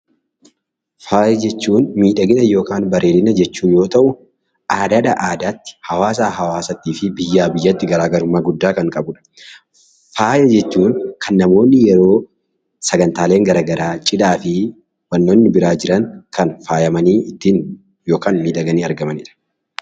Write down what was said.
Faaya jechuun miidhagina yookaan bareedina jechuu yoo ta'u, aadaa adaatti hawaasaa hawaasatti fi biyyaa biyyatti garaagarummaa kan qabudha. Faaya jechuun kan namoonni yeroo sagantaalee garaagaraa cidhaa fi kanneen biroo jiran kan faayamanii ittiin miidhaganii argamanidha